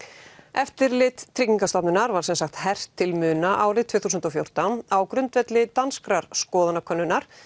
eftirlit Tryggingastofnunar var sem sagt hert til muna árið tvö þúsund og fjórtán á grundvelli danskrar skoðanakönnunar